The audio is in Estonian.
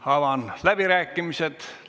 Avan läbirääkimised.